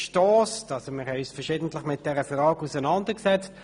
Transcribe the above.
Wir haben uns verschiedentlich mit dieser Frage auseinandergesetzt.